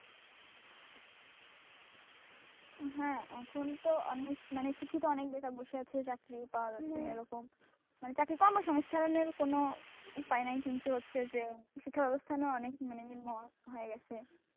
হ্যাঁ এখন তো অনেক মানে শিক্ষিত অনেক বেকার বসে আছে চাকরি পাওয়া যাচ্ছে না এরকম মানে চাকরি কর্মস্থানের কোন পায়নাই কিন্তু হচ্ছে যে শিক্ষা ব্যবস্থানের অনেক নিম্ন হয়ে গেছে।